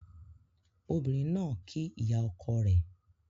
Ọbìnrin ná kí ìyà oko rẹ